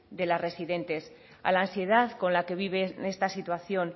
de las residentes a la ansiedad con la que viven esta situación